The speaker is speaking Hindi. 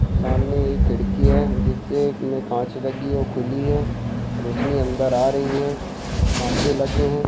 सामने एक खिड़की है जिस से एक में कांच लगी है वो खुली है रौशनी अंदर आ रही है कांचे लगे है।